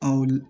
Awɔ